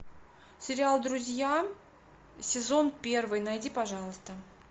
сериал друзья сезон первый найди пожалуйста